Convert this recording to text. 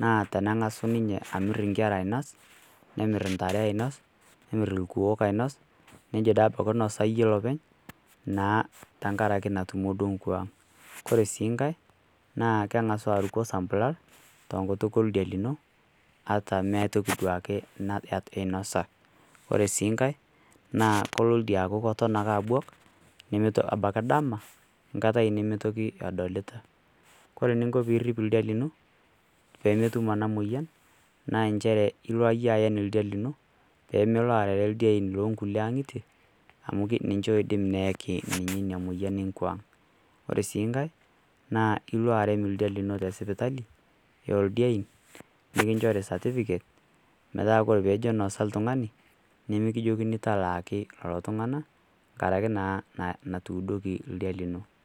naa teneng'asu ninye amir inkera ainas, nemir intare ainas, nemir ilkuoo ainas, neijo pee einosa iyie olopeny naa tenkaraki natutumo naa duo nkwaang'. Kore sii nkai naa keng'asu aruko osampulal tenkutuk oldia lino ata meata toki duake nainasa . Ore sii nkai naa kelo ake aaku elo ake oldia abuak neitu ake kindama metii toki nadolita. Kore eniinko pee irip oldia lino pee metum ena moyian naa nchere ilo iyie aen oldia lino pee melo arere ildiein loo kulie ang'itie amu ninche oidim neyaki ninche Ina moyian e nkwaang'. Ore sii nkai naa ilo arem oldia lino te sipitali o ildiein nekinchori esatifiket metaa Kore pee ejo nosa l'tungani nemekijokini talaa ake iltung'ana enkaraki naa natuidoki oldia lino.